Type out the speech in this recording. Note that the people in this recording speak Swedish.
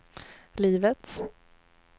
livets